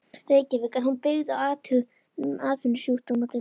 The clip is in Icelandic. Reykjavík, en hún er byggð á athugunum atvinnusjúkdómadeildar